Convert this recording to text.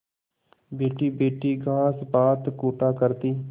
बैठीबैठी घास पात कूटा करती